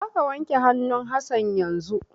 Za ka wanke hannun Hassan yanzun!